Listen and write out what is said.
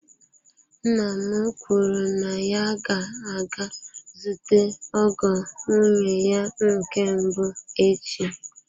Nna m kwuru na ya ga-aga zute ọgọ nwunye ya nke mbụ echi.